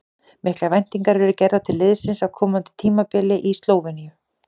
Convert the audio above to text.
Miklar væntingar eru gerðar til liðsins á komandi tímabili í Slóveníu.